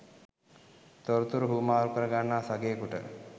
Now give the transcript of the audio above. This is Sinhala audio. තොරතුරු හුවමාරු කර ගන්නා සගයෙකුට